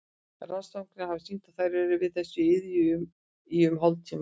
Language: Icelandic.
Rannsóknir hafa sýnt að þær eru við þessa iðju í um hálftíma.